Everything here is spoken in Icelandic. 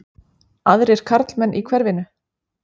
Aðrir karlmenn í hverfinu?